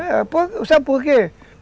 É, sabe por quê?